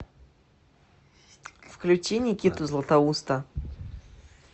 включи никиту златоуста